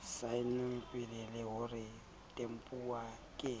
saennweng le ho tempuwa ke